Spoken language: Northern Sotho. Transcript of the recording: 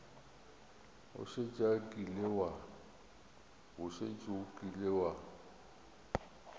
o šetše o kile wa